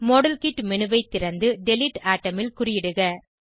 model kit menu ஐ திறந்து delete atom ல் குறியிடுக